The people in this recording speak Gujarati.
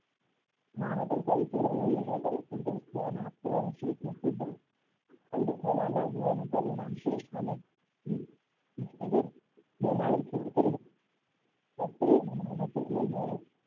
હવે તે વેપારી ખૂબ જ દ્યાન આપતો અને સેઠ ને ખૂબ જ ફાયદો થવા લાગ્યો અને પરિણામ શ્રેષ્ઠ અને મહેનત જોઈને,